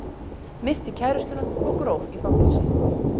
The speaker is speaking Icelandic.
Myrti kærustuna og gróf í fangelsi